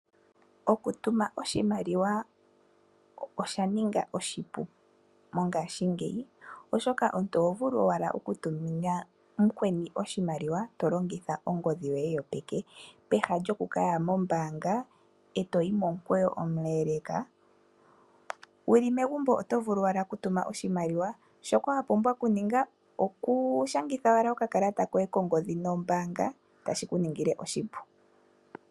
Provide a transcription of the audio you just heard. Okutuma Oshimaliwa osha ninga oshipu mongashingeyi, oshoka omuntu oho vulu owala okutumina mukweni oshimaliwa tolongitha ongodhi yoye yopeke, peha lyoku kaya mombaanga eto yi momukweyo omuleleka. Wuli megumbo oto vulu owala okutuma oshimaliwa, shoka wapumbwa okuninga okushangitha owala okakalata koye kongodhi nombaanga otashi kuningile oshipu.